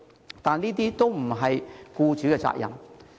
然而，這些都不是僱主的責任。